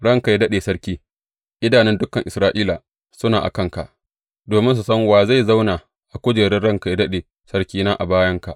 Ranka yă daɗe sarki, idanun dukan Isra’ila suna a kanka, domin su san wa zai zauna a kujerar ranka yă daɗe sarkina, a bayanka.